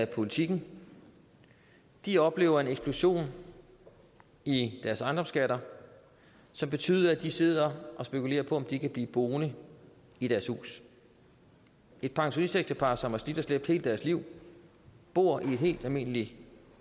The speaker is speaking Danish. politiken de oplever en eksplosion i deres ejendomsskatter som betyder at de sidder og spekulerer på om de kan blive boende i deres hus et pensionistægtepar som har slidt og slæbt hele deres liv og bor i et helt almindeligt